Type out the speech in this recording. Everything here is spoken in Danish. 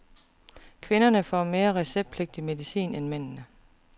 Kvinderne får mere receptpligtig medicin end mændene.